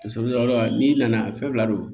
n'i nana fɛn fila don